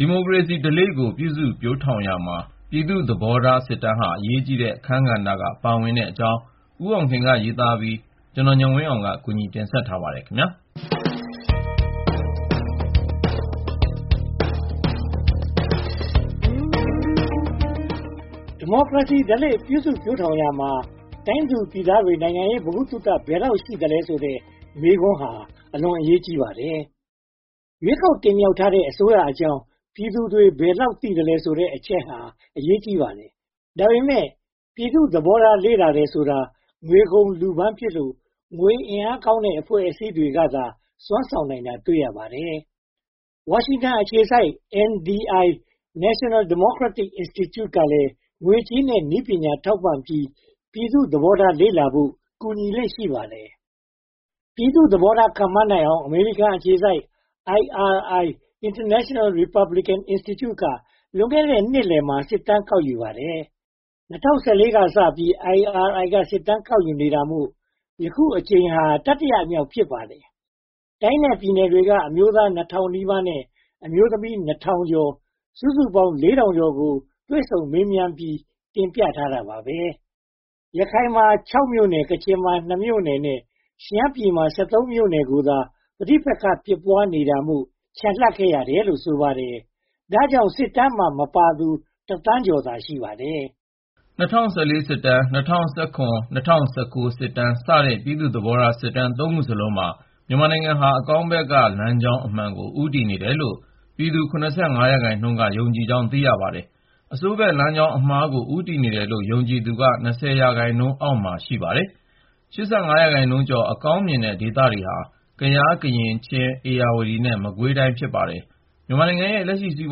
ဒီမိုကရေစီဓလေ့ကို ပြုစုပျိုးထောင်ရာမှာ တိုင်းသူပြည်သားတွေ နိုင်ငံရေး ဗဟုသုတ ဘယ်လောက်ရှိသလဲဆိုတဲ့ မေးခွန်းဟာ အလွန်အရေးကြီးပါတယ်။ ရွေးကောက်တင်မြှောက်ထားတဲ့ အစိုးရအကြောင်း ပြည်သူတွေ ဘယ်လောက်သိသလဲဆိုတဲ့ အချက်ဟာ အရေးကြီးပါတယ်။ ဒါပေမဲ့ ပြည်သူ့သဘောထား လေ့လာတယ်ဆိုတဲ့ ငွေကုန်လူပန်းဖြစ်လို့ ငွေအင်အားကောင်းတဲ့ အဖွဲ့အစည်းတွေကသာ စွမ်းဆောင်နိုင်တာ တွေ့ရပါတယ်။ ဝါရှင်တန်အခြေစိုက် NDI – National Democratic Institute ကလည်း ငွေကြေးနဲ့ နည်းပညာ ထောက်ပံ့ပြီး ပြည်သူ့သဘောထားလေ့လာဖို့ ကူညီလေ့ ရှိပါတယ်။ ပြည်သူ့သဘောထားကို ခန့်မှန်းနိုင်အောင် အမေရိကန်အခြေစိုက် IRI – International Republican Institute က လွန်ခဲ့တဲ့ နှစ်လယ်မှာ စစ်တမ်းကောက်ယူပါတယ်။ ၂၀၁၄ ကစပြီး IRI က စစ်တမ်းကောက်ယူနေတာမို့ အခုအကြိမ်ဟာ တတိယမြောက် ဖြစ်ပါတယ်။ တိုင်းနဲ့ပြည်နယ်တွေက အမျိုးသား (၂၀၀၀) နီးပါးနဲ့ အမျိုးသမီး (၂၀၀၀) ကျော် စုစုပေါင်း (၄၀၃၀) ကို တွေ့ဆုံမေးမြန်းပြီး တင်ပြထားခဲ့ပါတယ်။ ရခိုင်မှာ (၆) မြို့နယ်၊ ကချင်မှာ (၂) မြို့နယ်၊ ရှမ်းပြည်နယ်မှာ (၁၃) မြို့နယ်ကိုသာ ပဋိပက္ခ ဖြစ်နေတာမို့ ချန်လှပ်ခဲ့ရတယ်လို့ ဆိုပါတယ်။ ဒါကြောင့် စစ်တမ်းမှာ မပါသူဟာ (၁) သန်းကျော်သာ ရှိပါတယ်။ ၂၀၁၄ စစ်တမ်း၊ ၂၀၁၇ စစ်တမ်းနဲ့ ၂၀၁၉ စစ်တမ်းစတဲ့ ပြည်သူ့သဘောထားစစ်တမ်း (၃) ခုစလုံးမှာ မြန်မာနိုင်ငံဟာ အကောင်းဘက်က လမ်းကြောင်းအမှန်ကို ဦးတည်နေတယ်လို့ ပြည်သူ (၇၅) ရာခိုင်နှုန်းကျော်က ယုံကြည်ကြောင်း သိရပါတယ်။ အဆိုးဘက်လမ်းကြောင်းအမှားကို ဦးတည်နေတယ်လို့ ယုံကြည်သူက (၂၀) ရာခိုင်နှုန်းအောက်မှာ ရှိပါတယ်။ (၈၅) ရာခိုင်နှုန်းကျော် အကောင်းမြင်တဲ့ဒေသတွေဟာ ကယား၊ ကရင်၊ ချင်း၊ ဧရာဝတီနဲ့ မကွေး ဖြစ်ပါတယ်။ မြန်မာပြည်ရဲ့ လက်ရှိ စီး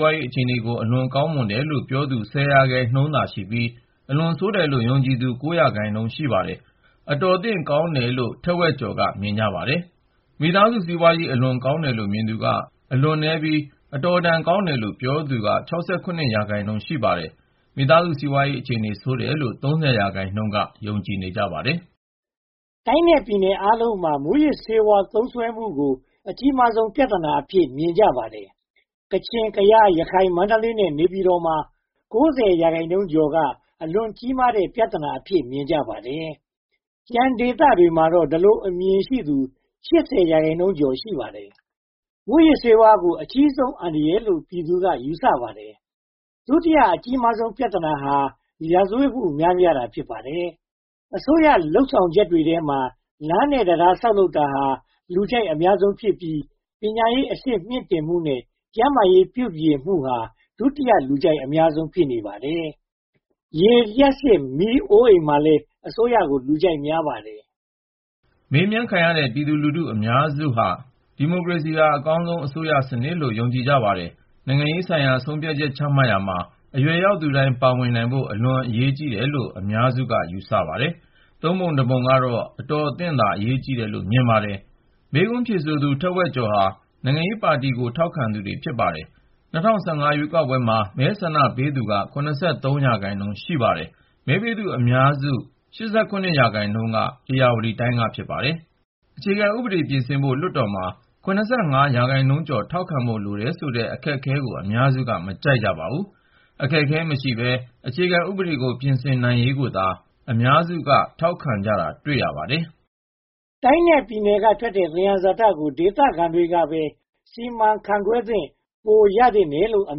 ပွားရေးအခြေအနေကို အလွန်ကောင်းမွန်တယ်လို့ ပြောသူ (၁၀) ရာခိုင်နှုန်းသာရှိပြီး၊ အလွန်ဆိုးတယ်လို့ ယုံကြည်သူ (၉) ရာခိုင်နှုန်း ရှိပါတယ်။ အတော်အသင့်ကောင်းတယ်လို့ တဝက်ကျော် (၅၁) ရာခိုင်နှုန်းက မြင်ပါတယ်။ မိသားစု စီးပွားရေး အလွန်ကောင်းမွန်တယ်လို့ ပြောသူ (၃) ရာခိုင်နှုန်းသာရှိပြီး၊ အတော်အသင့်ကောင်းတယ်လို့ ပြောသူ (၆၇) ရာခိုင်နှုန်း ရှိပါတယ်။ မိသားစု စီးပွားရေးအခြေအနေ အလွန်ဆိုးတယ်လို့ ယုံကြည်သူ (၃၀) ရာခိုင်နှုန်း ရှိပါတယ်။ တိုင်းနဲ့ပြည်နယ်အားလုံးမှာ မူးယစ်ဆေးဝါးသုံးစွဲမှုကို အကြီးဆုံး ပြဿနာအဖြစ် မြင်ကြပါတယ်။ ကချင်၊ ကယား၊ ရခိုင်၊ မန္တလေးနဲ့ နေပြည်တော်မှာ (၉၀) ရာခိုင်နှုန်းကျော်က အလွန်ကြီးမားတဲ့ ပြဿနာအဖြစ် မြင်ကြပါတယ်။ ကျန်ဒေသတွေမှာတော့ ဒီလိုအမြင်ရှိသူ (၈၀) ရာခိုင်နှုန်းကျော် ရှိပါတယ်။ မူးယစ်ဆေးဝါးကို အကြီးဆုံးအန္တရာယ်လို့ ပြည်သူတွေက ယူဆကြပါတယ်။ ဒုတိယအကြီးဆုံး ပြဿနာက ရာဇဝတ်မှု များပြားလာတာ ဖြစ်ပါတယ်။ အစိုးရလုပ်ဆောင်ချက်တွေထဲမှာ လမ်းနဲ့တံတား ဆောက်လုပ်ရေးဟာ လူကြိုက်အများဆုံးဖြစ်ပြီး ကျန်းမာရေးပြုပြင်မှုဟာ ဒုတိယ လူကြိုက်အများဆုံး ဖြစ်နေပါတယ်။ ရေ၊ လျှပ်စစ်မီး၊ အိုအိမ်မှာလည်း အစိုးရကို လူကြိုက်များပါတယ်။ မေးမြန်းခံရတဲ့ ပြည်သူလူထု အများဆုံး (၇၆) ရာခိုင်နှုန်းက ဒီမိုကရေစီဟာ အကောင်းဆုံး အစိုးရစနစ်ကို ယုံကြည်ကြပါတယ်။ နိုင်ငံရေးဆိုင်ရာ ဆုံးဖြတ်ချမှတ်ရာမှာ အရွယ်ရောက်သူတိုင်း ပါဝင်နိုင်ဖို့ အလွန်အရေးကြီးတယ်လို့ အများစု (၆၂) ရာခိုင်နှုန်းက ယူဆပါတယ်။ သုံးပုံတပုံ (၃၁) ရာခိုင်နှုန်းကတော့ အတော်အသင့်သာ အရေးကြီးတယ်လို့ မြင်ကြပါတယ်။ မေးခွန်းဖြေကြားသူ တဝက်ကျော် (၅၁) ရာခိုင်နှုန်းဟာ နိုင်ငံရေးပါတီကို ထောက်ခံသူတွေ ဖြစ်ပါတယ်။ ၂၀၁၅ ရွေးကောက်ပွဲမှ ဆန္ဒမဲပေးသူက (၇၅) ရာခိုင်နှုန်း ရှိပါတယ်။ မဲပေးသူ အများဆုံး (၈၇) ရာခိုင်နှုန်းက ဧရာဝတီတိုင်း ဖြစ်ပါတယ်။ အခြေခံဥပဒေ ပြင်ဆင်ဖို့ လွှတ်တော်မှာ (၇၅) ရာခိုင်နှုန်းကျော် ထောက်ခံဖို့ လိုတယ်ဆိုတဲ့ အခက်အခဲကို အများစုက မကြိုက်ကြပါဘူး။ အခက်အခဲမရှိဘဲ အခြေခံဥပဒေကို ပြင်ဆင်နိုင်ရေးကိုသာ အများစု (၈၀) ရာခိုင်နှုန်းက ထောက်ခံကြတာတွေ့ရပါတယ်။ တိုင်းနဲ့ပြည်နယ်က ထွက်တဲ့သယံဇာတကို ဒေသခံတွေကပဲ စီမံခန့်ခွဲခွင့် ပိုရသင့်တယ်လို့ အ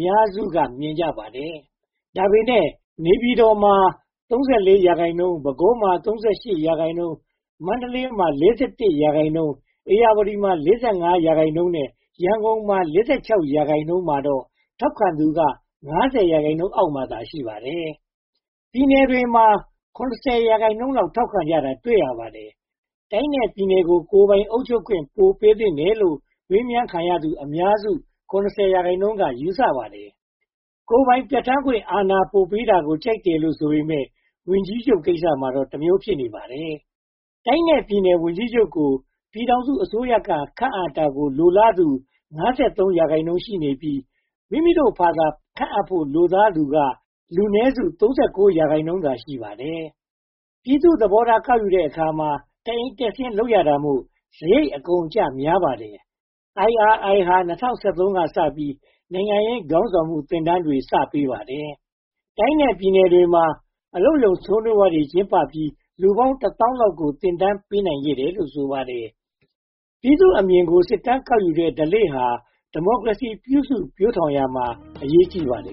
များစု (၅၂) ရာခိုင်နှုန်းက မြင်ကြပါတယ်။ ဒါပေမဲ့ နေပြည်တော် (၃၄) ရာခိုင်နှုန်း၊ ပဲခူး (၃၈) ရာခိုင်နှုန်း၊ မန္တလေး (၄၁) ရာခိုင်နှုန်း၊ ဧရာဝတီ (၄၅) ရာခိုင်နှုန်းနဲ့ ရန်ကုန် (၄၆) ရာခိုင်နှုန်းမှာတော့ ထောက်ခံသူက (၅၀) ရာခိုင်နှုန်းအောက်မှာသာ ရှိပါတယ်။ ပြည်နယ်တွေမှာ (၇၀) ရာခိုင်နှုန်းလောက် ထောက်ခံကြတာကို တွေ့ရပါတယ်။ တိုင်းနဲ့ပြည်နယ်တွေကို ကိုယ်ပိုင်အုပ်ချုပ်ခွင့် ပိုပေးသင့်တယ်လို့ မေးမြန်းခံသူ အများစု (၇၀) ရာခိုင်နှုန်းက ယူဆပါတယ်။ ကိုယ်ပိုင်ပြဌာန်းခွင့် အာဏာပိုပေးတာကို ကြိုက်တယ်ဆိုပေမယ့် ဝန်ကြီးချုပ်ကိစ္စမှာတော့ တမျိုး ဖြစ်နေပါတယ်။ တိုင်းနဲ့ပြည်နယ် ဝန်ကြီးချုပ်ကို ပြည်ထောင်စုအစိုးရက ခန့်အပ်တာကို လိုလားသူ (၅၃) ရာခိုင်နှုန်း ရှိနေပြီး မိမိတို့ဘာသာ ခန့်အပ်ဖို့ လိုလားသူက လူနည်းစု (၃၉) ရာခိုင်နှုန်း ဖြစ်နေပါတယ်။ ပြည်သူ့သဘောထား ကောက်ယူတဲ့အခါမှာ တအိမ်တက်ဆင်း လုပ်ရတာမို့ စရိတ်အကုန်အကျ များပါတယ်။ IRI ဟာ ၂၀၁၃ ကစပြီး နိုင်ငံရေးခေါင်းဆောင်မှု သင်တန်းတွေ စပေးပါတယ်။ တိုင်းနဲ့ပြည်နယ်တွေမှာ အလုပ်ရုံ ဆွေးနွေးပွဲတွေ ကျင်းပပြီး လူပေါင်းတသောင်းလောက်ကို သင်တန်းပေးနိုင်ခဲ့တယ်လို့ ဆိုပါတယ်။ ပြည်သူ့အမြင်ကို စစ်တမ်းကောက်ယူတဲ့ ဓလေ့ဟာ ဒီမိုကရေစီကို ပြုစုပျိုထောင်ရာမှာ အရေးကြီးပါတယ်